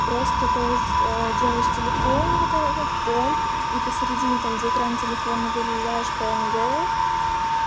просто то есть делаешь телефон вот этот фон и посередине там где экран телефона вырезаешь пнг